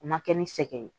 O ma kɛ ni sɛgɛn ye